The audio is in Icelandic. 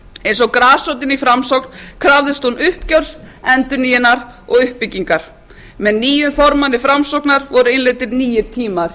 eins og grasrótin í framsókn krafðist hún uppgjörs endurnýjunar og uppbyggingar með nýjum formanni framsóknar voru innleiddir nýir tíma í